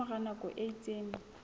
ka mora nako e itseng